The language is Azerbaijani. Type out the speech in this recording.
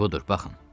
Budur, baxın.